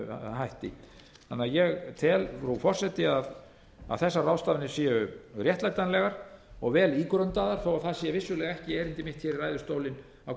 hætti þannig að ég tel frú forseti að þessar ráðstafanir séu réttlætanlegar og vel ígrundaðar þó það sé vissulega ekki erindi mitt hér í ræðustólinn á